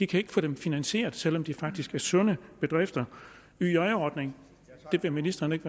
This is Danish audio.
kan ikke få det finansieret selv om det faktisk er sunde bedrifter yj ordningen vil ministeren ikke